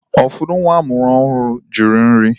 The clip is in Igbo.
Ụfọdụ nwa amụrụ ọhụrụ jụrụ nri.